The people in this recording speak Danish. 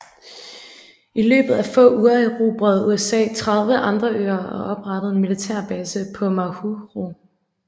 I løbet af få uger erobrede USA 30 andre øer og oprettede en militærbase på Majuro